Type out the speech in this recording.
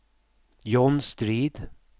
John Strid